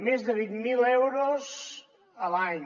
més de vint mil euros a l’any